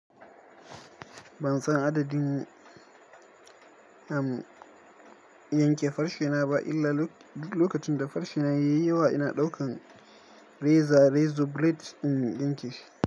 Ban san adadin, am, in yanke farshena ba illa lokacin da farshena yayi yawa ina ɗaukan reza, rezo blade in yanke shi.